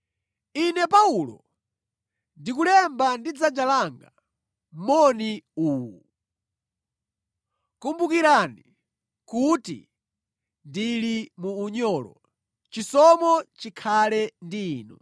Ine Paulo, ndikulemba ndi dzanja langa moni uwu. Kumbukirani kuti ndili mu unyolo. Chisomo chikhale ndi inu.